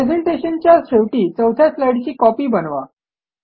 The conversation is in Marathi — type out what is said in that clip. प्रेझेंटेशनच्या शेवटी चौथ्या स्लाईडची कॉपी बनवा